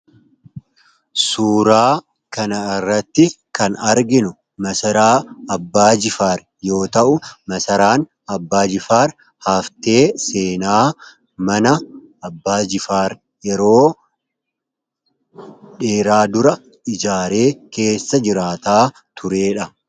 Suuraa kanarratti kan arginu masaraa Abbaa Jifaar yoo ta’u, masaraan Abbaa Jifaar haftee seenaa mana Abbaa Jifaar yeroo dheeraa dura ijaaree keessa jiraataa turedha.